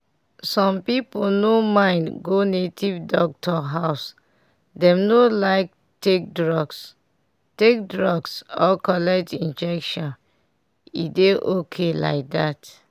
some people no mind go native doctor house dem no like take drugs take drugs or collect injection and e dey okay like that.